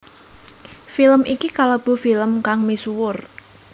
Film iki kalebu film kang misuwur